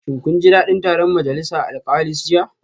Shin kun ji dadin taron majalisa alkalis jiya?